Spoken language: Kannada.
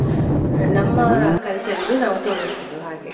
ನಮ್ಮ culture ಇದು ನಾವು ತೋರಿಸುದು ಹಾಗೆ.